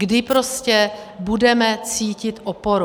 Kdy prostě budeme cítit oporu?